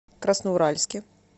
красноуральске